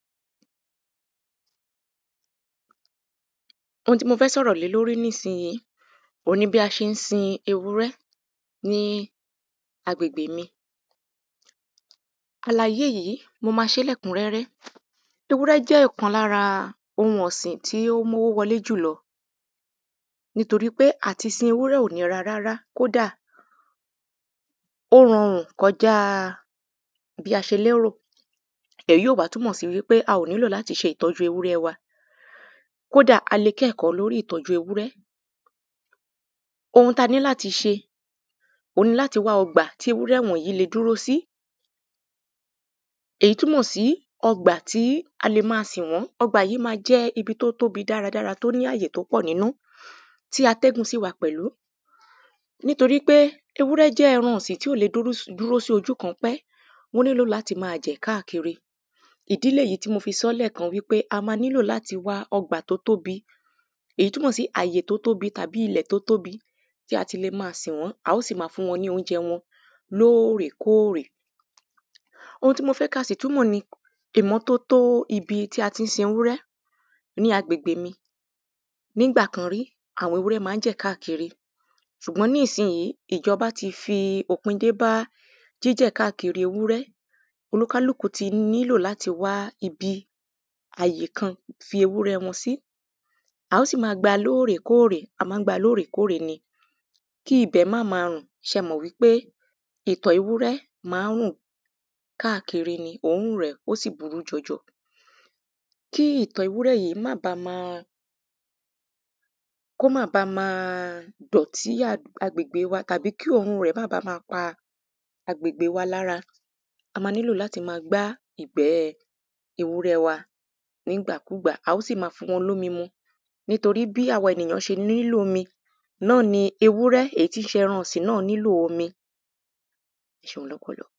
ohun tí mó fẹ́ sọ̀rọ̀ lé lórí nísiyìí, òun ni bí a ṣeé sin ewúrẹ́ ní agbègbè mi. àlàyé yìí, mo ma ṣé lẹ́kúnrẹ́rẹ́. ewúrẹ́ jẹ́ ìkan lára ohun ọ̀sìn tí ó mówó wọlé jùlọ nítorí pé àti sin ewúrẹ́ ò nira rárá, kódà, ó rọrùn kọ́jáa bí a ṣe lérò. èyí ò wá túnmọ̀ sí wípé a ò nílò láti ṣe ìtọ́jú ewúrẹ́ wa, kódà a le kẹ́kọ̀ọ́ lórí ìtọ́jú ewúrẹ́. ohun taní láti ṣe òun ni láti wá ọgbà tí ewúrẹ́ wọ̀nyí le dúró sí, èyí túnmọ̀ sí ọgbà tí a le máa sìn wọ́n, ọgbà yìí ma jẹ́ ibi tó tóbi dáradára tó ní àyè tó pọ̀ nínú tí atẹ́gùn sì wà pẹ̀lú. nítorí pé, ewúrẹ́ jẹ́ ẹran ọ̀sìn tí ò le dúró s, dúró sí ojú kan pé, wọ́n nílò láti máa jẹ̀ káàkiri, ìdí lèyíì tí mo fi sọ́ lẹ́kan pé a ma nílò láti wá ọgbà tó tóbi, èyí túnmọ̀ sí àyè tó tóbi tàbí ilẹ̀ tó tóbi tí a ti le máa sìn wọ́n, a ó sì máa fún wọn ní oúnjẹ wọn lóòrèkóòrè. ohun tí mo fẹ́ kasì túnmọ̀ ni ìmọ́tótó ibi tí a tín sin ewúrẹ́ ni ìmọ́tótó ní agbègbè mi. nígbàkan rí, àwọn ewúrẹ́ ma ń jẹ̀ káàkiri, ṣùgbọ́n níìsiìyí, ìjọbá ti fi òpin dé bá jíjẹ̀ káàkiri ewúrẹ́, oníkálùkù ti nílò láti wá ibi àyè kan fi ewúrẹ́ wọn sí, à ó sì máa gba lóòrèkóòrè, a mán gba lóòrèkóòrè ni kí ibẹ̀ máma rùn, ṣẹ́ mọ̀ wípé ìtọ̀ ewúrẹ́ ma ń rùn káàkiri ni, òórùn rẹ̀, ó sì burú jọjọ. kí ìtọ̀ ewúrẹ́ yìí mábá ma, kó má bá ma dọ̀tí àdú, agbègbe wa, tàbí kí òórùn rẹ̀ mábá ma pa agbègbe wa lára. a ma nílò láti ma gbá ìgbẹ́ẹ ewúrẹ́ẹ wa nígbàkúgbà, a ó sì ma fún wọn lómi mu, nítorí bí àwa ènìyán ṣe nílò omi náà ni ewúrẹ́ èyí tín ṣe ẹran ọ̀sìn náà nílò omi.